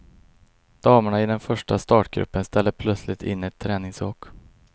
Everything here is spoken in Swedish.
Damerna i den första startgruppen ställde plötsligt in ett träningsåk.